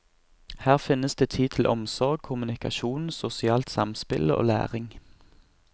Her finnes det tid til omsorg, kommunikasjon, sosialt samspill og læring.